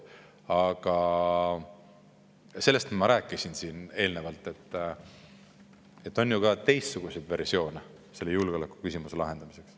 Aga sellest ma rääkisin siin eelnevalt, et on ju ka teistsuguseid versioone selle julgeolekuküsimuse lahendamiseks.